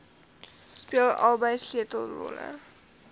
speel albei sleutelrolle